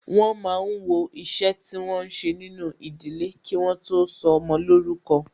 Wọn máa ń wọ iṣẹ́ tí wọn ń ṣe nínú ìdílé, kí wọ́n tó sọmọ lórúkọ